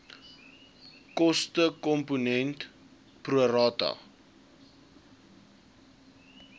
kostekomponent pro rata